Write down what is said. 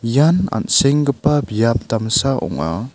ian an·senggipa biap damsa ong·a.